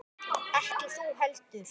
Ekki þú heldur.